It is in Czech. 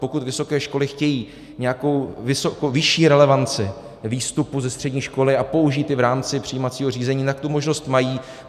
Pokud vysoké školy chtějí nějakou vyšší relevanci výstupu ze střední školy a použít ji v rámci přijímacího řízení, tak tu možnost mají.